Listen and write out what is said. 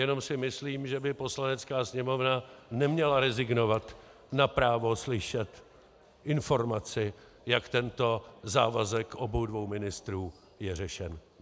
Jenom si myslím, že by Poslanecká sněmovna neměla rezignovat na právo slyšet informaci, jak tento závazek obou dvou ministrů je řešen.